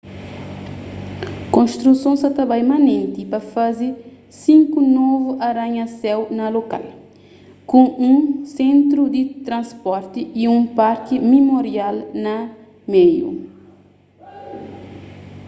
konstruson sa ta bai manenti pa faze sinku novu aranha-séu na lokal ku un sentru di transporti y un parki mimorial na meiu